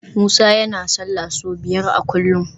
Musa yana sallah sau biyar a kullum